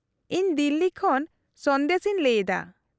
-ᱤᱧ ᱫᱤᱞᱞᱤ ᱠᱷᱚᱱ ᱥᱚᱱᱫᱮᱥ ᱤᱧ ᱞᱟᱹᱭᱮᱫᱟ ᱾